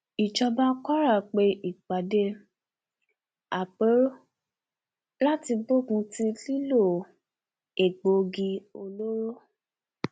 ìjọba kwara pe ìpàdé àpérò láti gbógun ti lílo egbòogi olóró